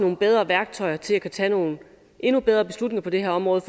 nogle bedre værktøjer til at kunne tage nogle endnu bedre beslutninger på det her område